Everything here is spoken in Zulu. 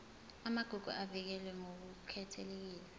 amagugu avikelwe ngokukhethekile